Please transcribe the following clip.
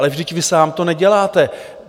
Ale vždyť vy sám to neděláte.